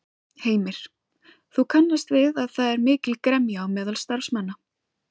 Heimir: Þú kannast við að það er mikil gremja á meðal starfsmanna?